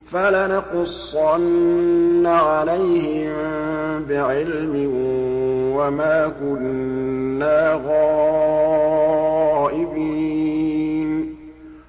فَلَنَقُصَّنَّ عَلَيْهِم بِعِلْمٍ ۖ وَمَا كُنَّا غَائِبِينَ